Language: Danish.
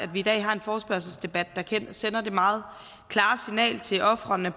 vi i dag har en forespørgselsdebat der sender det meget klare signal til ofrene